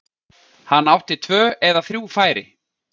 Hann átti tvö eða þrjú færi.